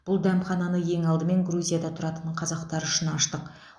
бұл дәмхананы ең алдымен грузияда тұратын қазақтар үшін аштық